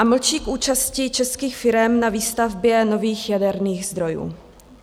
A mlčí k účasti českých firem na výstavbě nových jaderných zdrojů.